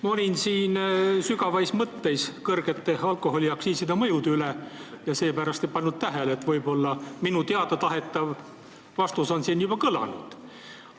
Ma olin siin sügavais mõtteis kõrgete alkoholiaktsiiside mõju üle ja seepärast ei pannud tähele, nii et võib-olla vastus, mida ma teada tahan, on siin juba kõlanud.